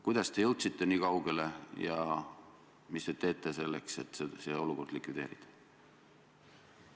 Kuidas te jõudsite niikaugele ja mis te teete selleks, et see olukord likvideerida?